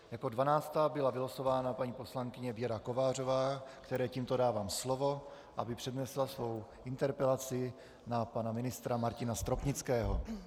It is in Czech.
Jako dvanáctá byla vylosována paní poslankyně Věra Kovářová, které tímto dávám slovo, aby přednesla svou interpelaci na pana ministra Martina Stropnického.